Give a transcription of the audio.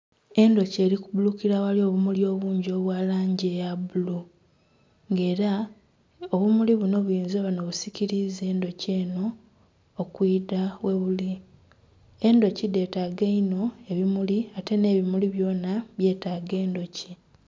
Endhuki eri kubbulukira aghali obumuli obungi obwa langi eya bbulu nga era obumuli buno buyinza oba nga n'obusikiriza endhuki eno okwidha ghebuli. Endhuki dhetaaga inho ebimuli ate n'ebimuli byona byetaaga endhuki.